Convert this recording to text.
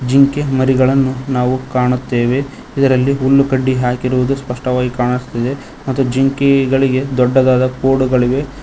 ಜಿಂಕೆ ಮರಿಗಳನ್ನು ನಾವು ಕಾಣುತ್ತೆವೆ ಇದರಲ್ಲಿ ಹುಲ್ಲು ಕಡ್ಡಿ ಹಾಕಿರುವುದು ಸ್ಪಷ್ಟವಾಗಿ ಕಾಣಸ್ತಿದೆ ಮತ್ತು ಜಿಂಕೆಗಳಿಗೆ ದೊಡ್ಡದಾದ ಕೊಡುಗಳಿವೆ.